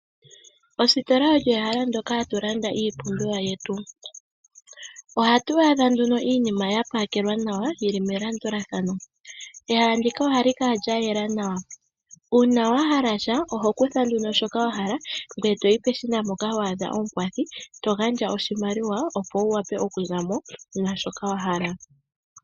Ositola olyo ehala mpoka hatu landa iipumbiwa yetu. Ohatu a dha nduno iinima yapakelwa nawa yili melandulathano. Ehala ndika ohali kala lya yela nawa, uuna wahala sha oho kutha ano shoka wahala ngoye toyi peshina mpoka ho a dha omukwathi ngoye togandja oshimaliwa opo wu wape oku za mo naashoka wahala.